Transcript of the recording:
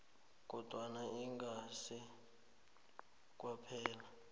kodwana ingasi kwaphela